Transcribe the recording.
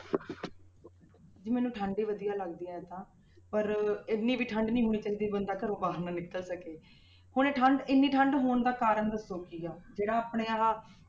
ਜੀ ਮੈਨੂੰ ਠੰਢ ਹੀ ਵਧੀਆ ਲੱਗਦੀ ਹੈ ਇਉਂ ਤਾਂ ਪਰ ਇੰਨੀ ਵੀ ਠੰਢ ਨੀ ਹੋਣੀ ਚਾਹੀਦੀ ਵੀ ਬੰਦਾ ਘਰੋਂ ਬਾਹਰ ਨਾ ਨਿਕਲ ਸਕੇ ਹੁਣ ਇਹ ਠੰਢ ਇੰਨੀ ਠੰਢ ਹੋਣ ਦਾ ਕਾਰਨ ਦੱਸੋ ਕੀ ਹੈ, ਜਿਹੜਾ ਆਪਣੇ ਆਹ